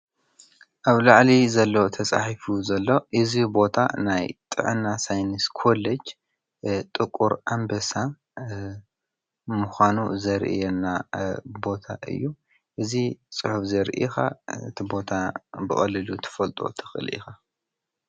ኣብ ላዕሊ ዘሎ ተፃሒፉ ዘሎ እዚ ቦታ ናይ ጥዕና ሳይነስ ኮሎጅ ጥቁር ኣንብሳ ምኳኑ ዘርእየና ቦታ እዩ። እዚ ፅሑፍ ዘርኢ ከኣ እቲ ቦታ ብቀሊሉ ክትፈልጦ ትክእል ኢካ።